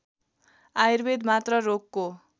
आयुर्वेद मात्र रोगको